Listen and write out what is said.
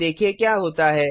देखें क्या होता है